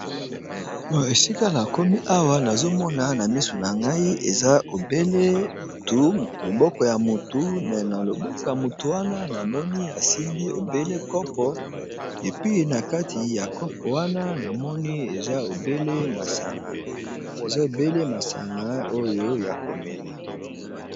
o esika na komi awa nazomona na misu na ngai loboko ya mutu me na loboko ya motu wana namoni asimbi ebele kopo epi na kati ya kopo wana namoni eeza obele masanga oyo ya komela